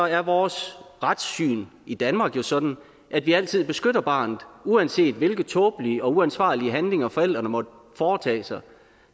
er vores retssyn i danmark jo sådan at vi altid beskytter barnet uanset hvilke tåbelige og uansvarlige handlinger forældrene måtte foretage sig